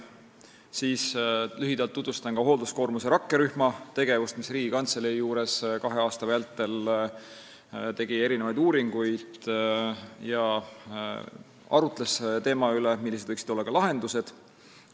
Siis tutvustan lühidalt hoolduskoormuse rakkerühma tegevust, kes tegi Riigikantselei juures kahe aasta vältel uuringuid ja arutles selle üle, millised võiksid olla lahendused.